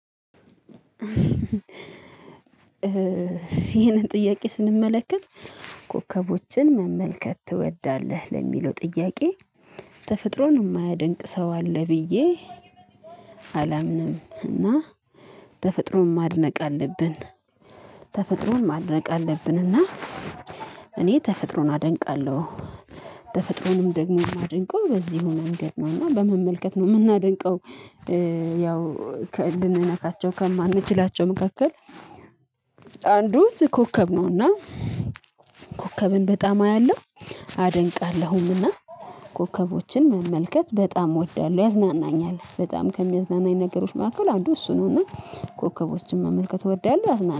ይህንን ጥያቄ ስንመለከት ኮከቦችን መመልከት ትወዳለህ ለሚለው ጥያቄ ተፈጥሮን የማያደንቅ ሰው አለ ብዬ አላምንም እና ተፈጥሮን ማድነቅ አለብን። ተፈጥሮን ማድነቅ አለብን። እና እኔ ተፈጥሮን አደንቃለሁ ተፈጥሮንም ደግሞ ማደንቀው በዚሁ መንገድ ነው እና በመመልከት ነው የምናደንቀው። ያው ከልንነካቸው ከማንችላቸው መካከል አንዱ ኮከብ ነው። እና ኮከብን በጣም አያለሁ አደንቃለሁም። እና ኮከቦችን መመልከት በጣም እወዳለሁ ያዝናናኛል በጣም ከሚያዝናናኝ ነገሮች መካከል አንዱ እሱ ነው። እና ኮከቦችን መመልከት እወዳለሁ ያዝናኛል